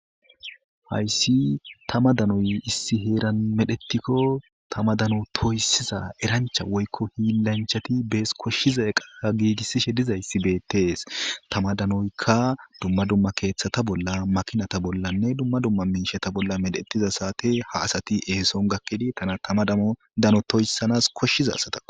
hayssi tama danoy issi heeran medhettikko tama dano toyssiza erancha woykko hiilanchati bees koshshiza qaa giigissishe dizayssi beettees tama danoykka dumma dumma keeththata bolla makinata bollanne dumma dumma miishata bolla medhettiza saate ha asati eeson gakkidi tana tama dmodano toyssanas koshshiza sata